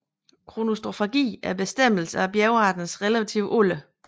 Kronostratigrafi er bestemmelsen af bjergarternes relative alder